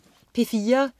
P4: